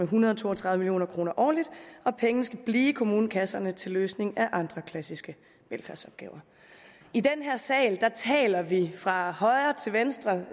hundrede og to og tredive million kroner årligt og pengene skal blive i kommunekasserne til løsning af andre klassiske velfærdsopgaver i den her sal taler vi fra højre til venstre